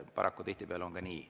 Paraku tihtipeale on ka nii.